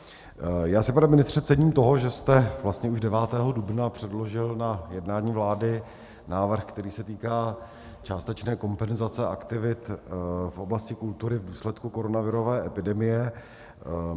Já si, pane ministře, cením toho, že jste vlastně už 9. dubna předložil na jednání vlády návrh, který se týká částečné kompenzace aktivit v oblasti kultury v důsledku koronavirové epidemie.